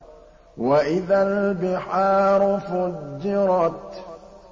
وَإِذَا الْبِحَارُ فُجِّرَتْ